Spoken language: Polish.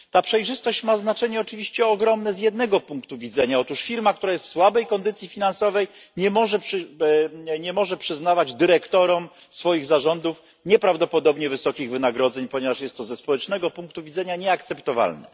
Ta przejrzystość ma znaczenie oczywiście ogromne z jednego punktu widzenia otóż firma, która jest w słabej kondycji finansowej, nie może przyznawać dyrektorom swoich zarządów nieprawdopodobnie wysokich wynagrodzeń, ponieważ jest to ze społecznego punktu widzenia nieakceptowalne.